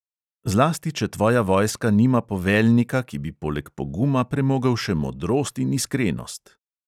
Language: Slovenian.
Zlasti, če tvoja vojska nima poveljnika, ki bi poleg poguma premogel še modrost in iskrenost.